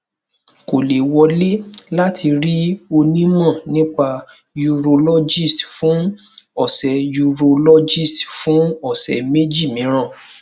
kò lè wọlé láti rí onímọ nípa urologist fún ọsẹ urologist fún ọsẹ méjì mìíràn